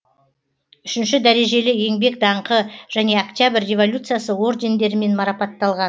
үшінші дәрежелі еңбек даңқы және октябрь революциясы ордендерімен марапатталған